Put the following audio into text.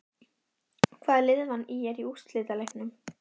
Hvaða lið vann ÍR í úrslitaleiknum?